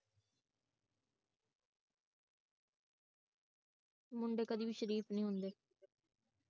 ਮੁੰਡੇ ਕਦੀ ਵੀ ਸ਼ਰੀਫ ਨਹੀਂ ਹੁੰਦੇ